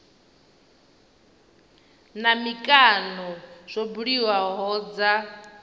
na mikano zwo buliwaho dza